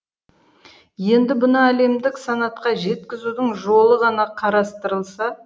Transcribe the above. енді бұны әлемдік санатқа жеткізудің жолы ғана қарастырылса